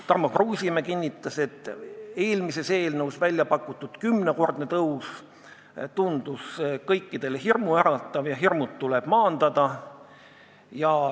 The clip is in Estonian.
Tarmo Kruusimäe kinnitas, et eelmises eelnõus pakutud kümnekordne tõus tundus kõikidele hirmuäratav ja hirmud tuleb maandada.